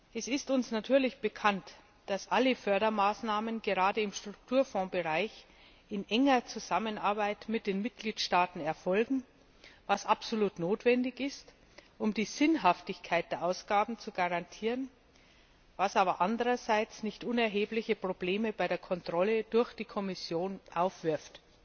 Es ist uns natürlich bekannt, dass alle Fördermaßnahmen, gerade im Strukturfondsbereich, in enger Zusammenarbeit mit den Mitgliedstaaten erfolgen, was absolut notwendig ist, um die Sinnhaftigkeit der Ausgaben zu garantieren, was aber andererseits nicht unerhebliche Probleme bei der Kontrolle durch die Kommission aufwirft.